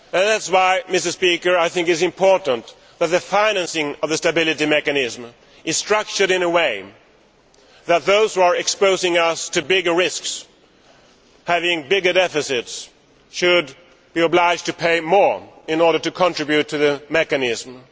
That is why I think it is important that the financing of the stability mechanism is structured in such a way that those who are exposing us to bigger risks by having bigger deficits should be obliged to pay more in order to contribute to the mechanism.